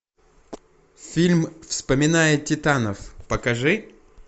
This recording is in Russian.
фильм вспоминая титанов покажи